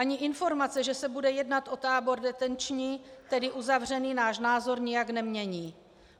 Ani informace, že se bude jednat o tábor detenční, tedy uzavřený, náš názor nijak nemění.